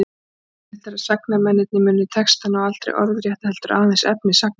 Líklegt er að sagnamennirnir muni textana aldrei orðrétta, heldur aðeins efni sagnanna.